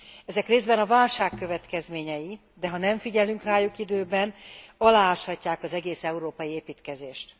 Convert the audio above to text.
Ezek részben a válság következményei, de ha nem figyelünk rájuk időben, alááshatják az egész európai építkezést.